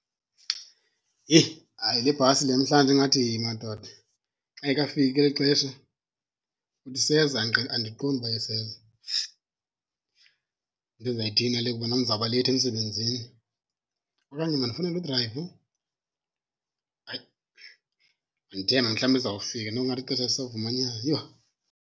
Heyi, hayi le bhasi le namhlanje ingathi madoda. Ayikafiki eli xesha? Uthi iseza? Andiqondi uba iseza. Yinto enzayithini le kuba nam ndizawuba leyithi emsebenzini? Okanye mandifowunele udrayiva? Hayi, mandithembe mhlawumbi izawufika noko ingathi ixesha lisavumanyana. Yho!